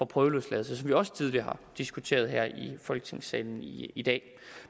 prøveløsladelse som vi også tidligere har diskuteret her i folketingssalen i i dag